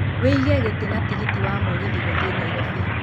wiĩge gĩtĩ na tigiti wa mũgithi gũthiĩ nairobi